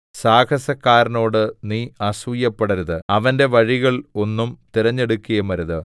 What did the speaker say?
സാഹസക്കാരനോട് നീ അസൂയപ്പെടരുത് അവന്റെ വഴികൾ ഒന്നും തിരഞ്ഞെടുക്കുകയുമരുത്